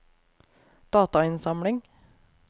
datainnsamling